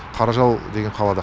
қаражал деген қалада